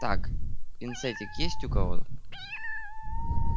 так пинцетик есть у кого